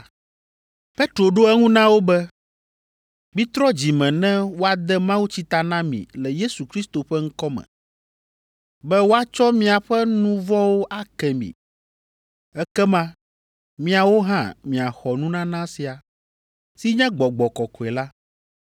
Petro ɖo eŋu na wo be, “Mitrɔ dzi me ne woade mawutsi ta na mi le Yesu Kristo ƒe ŋkɔ me, be woatsɔ miaƒe nu vɔ̃wo ake mi. Ekema miawo hã miaxɔ nunana sia, si nye Gbɔgbɔ Kɔkɔe la.